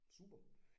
Super